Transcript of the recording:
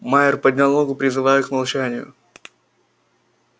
майер поднял ногу призывая к молчанию